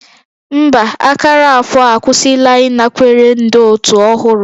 Mba, akara afọ akwụsịla ịnakwere ndị otu ọhụrụ